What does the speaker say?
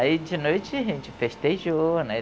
Aí de noite a gente festejou, né?